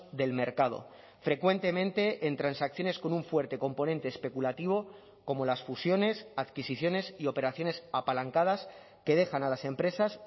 del mercado frecuentemente en transacciones con un fuerte componente especulativo como las fusiones adquisiciones y operaciones apalancadas que dejan a las empresas